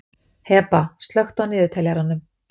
Heba, slökktu á niðurteljaranum.